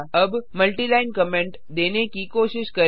अब multiline comment देने की कोशिश करें